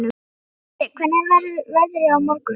Galti, hvernig er veðrið á morgun?